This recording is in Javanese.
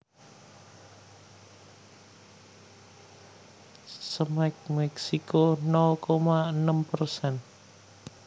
Cemex Meksiko nol koma enem persen